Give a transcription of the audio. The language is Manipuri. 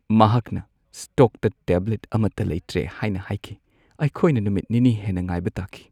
ꯃꯍꯥꯛꯅ ꯁ꯭ꯇꯣꯛꯇ ꯇꯦꯕ꯭ꯂꯦꯠ ꯑꯃꯠꯇ ꯂꯩꯇ꯭ꯔꯦ ꯍꯥꯏꯅ ꯍꯥꯏꯈꯤ꯫ ꯑꯩꯈꯣꯏꯅ ꯅꯨꯃꯤꯠ ꯅꯤꯅꯤ ꯍꯦꯟꯅ ꯉꯥꯏꯕ ꯇꯥꯈꯤ꯫